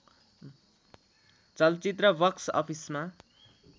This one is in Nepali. चलचित्र बक्स अफिसमा